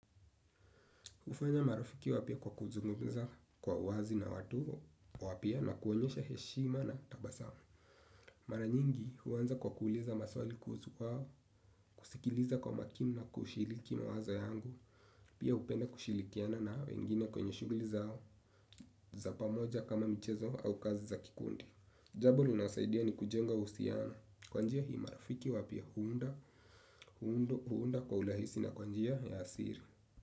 Hufanya marafiki wapya kwa kuzungumza kwa wazi na watu. Wapya na kuonyesha heshima na tabasamu. Mara nyingi huanza kwa kuuliza maswali kuhusu kwao. Kusikiliza kwa makini na kushiliki mawazo yangu. Pia hupenda kushilikiana na wengine kwenye shuguli zao za pamoja kama michezo au kazi za kikundi. Jambo linasaidia ni kujenga uhusiano. Kwa njia hii marafiki wapya huunda. Huundo huunda kwa urahisi na kwa njia ya asiri.